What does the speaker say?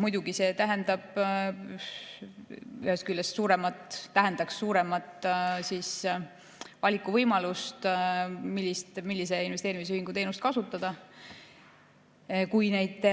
Muidugi, see tähendaks ühest küljest suuremat valikuvõimalust, millise investeerimisühingu teenust kasutada, kui neid